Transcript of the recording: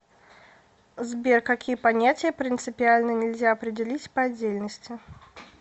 сбер какие понятия принципиально нельзя определить по отдельности